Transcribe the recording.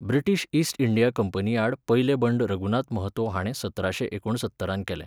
British East India कंपनीआड पयलें बंड रघुनाथ महतो हाणें सतराशें एकुणसत्तरांत केलें.